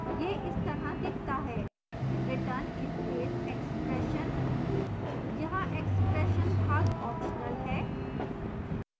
यह इस तरह दिखता है return space expression यहाँ expression भाग ऑप्शनल है